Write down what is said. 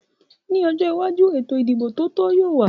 Ní ọjọ́ iwájú, ètò ìdìbò tó tò yóò wà